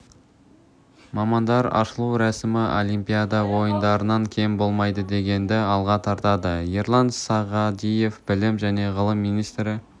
мамандар ашылу рәсімі олимпиада ойындарынан кем болмайды дегенді алға тартады ерлан сағадиев білім және ғылым министрі